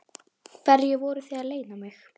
Hverju voruð þið að leyna mig?